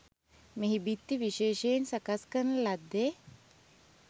මෙහි බිත්ති විශේෂයෙන් සකස් කරන ලද්දේ